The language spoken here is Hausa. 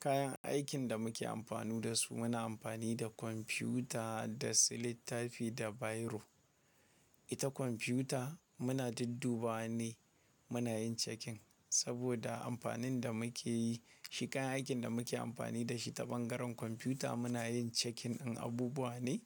Kayan aikin da muke amfani da su, muna amfani da kwamfuta da su littafi da biro. Ita kwamfuta muna dudduba ne muna yin checking saboda amfanin da muke yi. Shi kayan aikin da muke amfani da shi ta bangaren kwamfuta muna yin checking in abubuwa ne